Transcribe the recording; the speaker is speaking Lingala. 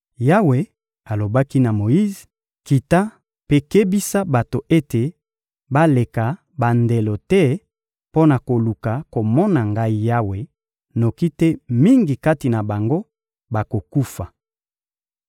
Yawe alobaki na Moyize: — Kita mpe kebisa bato ete baleka bandelo te mpo na koluka komona Ngai Yawe, noki te mingi kati na bango bakokufa.